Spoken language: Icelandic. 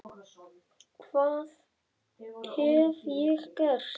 hvað hef ég gert?